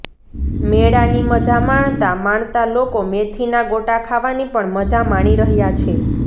મેળાની મજા માણતા માણતા લોકો મેથીના ગોટા ખાવાની પણ મજા માણી રહ્યાં છે